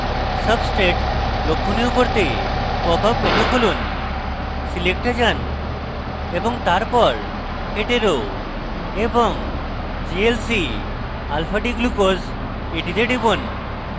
substrate লক্ষনীয় করতে popup menu খুলুন select এ যান এবং তারপর hetero এবং glcalfadglucose এ টিপুন